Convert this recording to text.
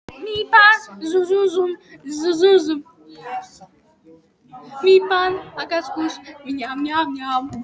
Það skipti ekki máli því að við tengdumst.